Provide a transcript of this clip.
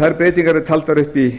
þær breytingar eru taldar upp í